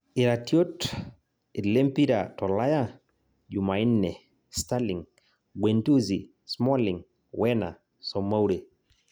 Iratiot lempira tolaya jumanne: Sterling, Guendouzi, Smalling, Werner, Soumare